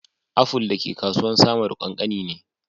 Aful da ke kasuwan samaru kankani ne.